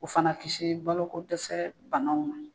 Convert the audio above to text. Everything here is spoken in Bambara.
O fana kisi baloloko dɛsɛ banaw ma.